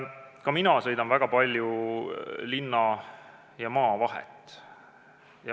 Ka mina sõidan väga palju linna ja maa vahet.